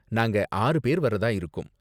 நாங்க ஆறு பேர் வர்றதா இருக்கோம்.